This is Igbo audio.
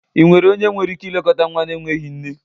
ị nwere onye nwere ike ilekọta nwa na-enweghị nne??